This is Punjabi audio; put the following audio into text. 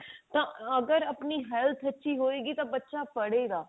ਤਾਂ ਅਗਰ ਆਪਣੀ health ਠੀਕ ਹੋਏ ਗੀ ਤਾਂ ਬੱਚਾ ਪੜ੍ਹੇ ਗਾ